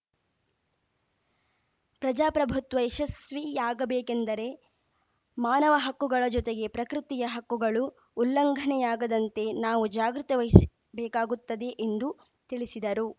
ಪ್ರಜಾಪ್ರಭುತ್ವ ಯಶಸ್ವಿಯಾಗಬೇಕೆಂದರೆ ಮಾನವ ಹಕ್ಕುಗಳ ಜೊತೆಗೆ ಪ್ರಕೃತಿಯ ಹಕ್ಕುಗಳೂ ಉಲ್ಲಂಘನೆಯಾಗದಂತೆ ನಾವು ಜಾಗ್ರತೆ ವಹಿಸ್ ಬೇಕಾಗುತ್ತದೆ ಎಂದು ತಿಳಿಸಿದರು